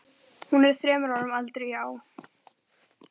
Hún er þremur árum eldri, já.